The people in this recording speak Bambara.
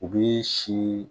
U bi si